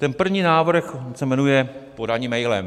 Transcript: Ten první návrh se jmenuje podání mailem.